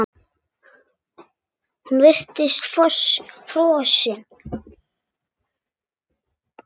Hún virtist frosin.